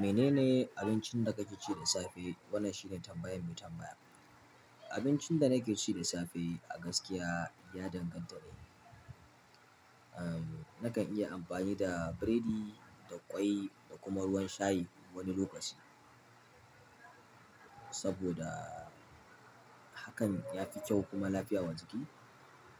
Mene ne abincin da kake ci da safe? Wannan shine tambayan mai tambaya. Abincin da nake ci da safe a gaskiya ya danganta ne. Aaa, nakan iya amfani da biredi da ƙwai da kuma ruwan shayi wani lokaci. Saboda hakan ya fi kyau kuma lafiyawa jiki.